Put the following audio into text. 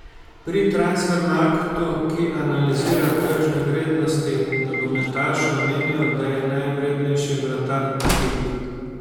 Pri Transfermarktu, ki analizira tržne vrednosti nogometašev, menijo, da je najvrednejši vratar ta hip.